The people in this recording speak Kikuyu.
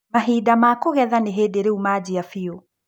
Mahinda ma kũhegetha nĩhĩndĩ riũ manjia biũ.